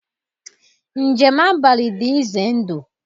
Njem abalị dị ize ndụ.